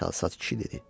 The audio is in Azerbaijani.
Çalsad kişi dedi.